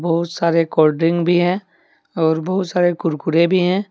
बहुत सारे कोल्डड्रिंक भी है और बहुत सारे कुरकुरे भी है।